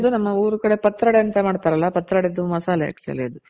ನಮ್ಮ ಊರ್ ಕಡೆ ಪತ್ರೊಡೆ ಅಂತ ಮಾಡ್ತಾರಲ್ಲ ಪತ್ರೊಡೆ ದು ಮಸಾಲೆ actually ಅದು